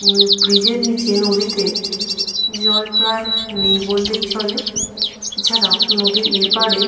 উমম bridge এর নিচে নদীতে জল প্রায় নেই বললেই চলে। এছাড়াও নদীর এপারে --